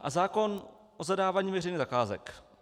A zákon o zadávání veřejných zakázek.